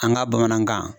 An ka bamanankan